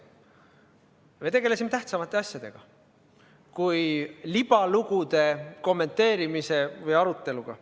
Me tegelesime tähtsamate asjadega kui libalugude kommenteerimise või nende üle arutlemisega.